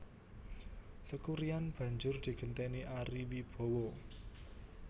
Teuku Ryan banjur digenténi Ari Wibowo